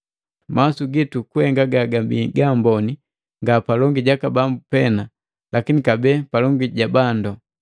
Mawasu gitu kuhenga gagabii gaamboni, nga palongi jaka Bambu pena, lakini kabee palongi ja bandu.